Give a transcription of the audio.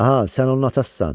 Aha, sən onun atasısan.